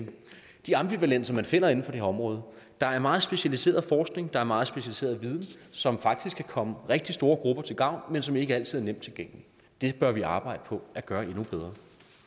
de ambivalenser man finder inden for det her område der er meget specialiseret forskning der er meget specialiseret viden som faktisk kan komme rigtig store grupper til gavn men som ikke altid er nemt tilgængelig det bør vi arbejde på at gøre endnu bedre